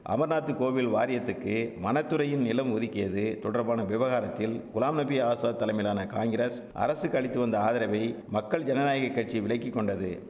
அமர்நாத்து கோவில் வாரியத்துக்கு வனத்துறையின் நிலம் ஒதுக்கியது தொடர்பான விவகாரத்தில் குலாம் நபி ஆசாத் தலைமையிலான காங்கிரஸ் அரசுக்கு அளித்துவந்த ஆதரவை மக்கள் ஜனநாயக கட்சி விலக்கிக்கொண்டது